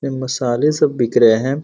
ये मसाले सब बिक रहे है।